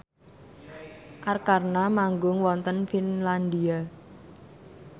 Arkarna manggung wonten Finlandia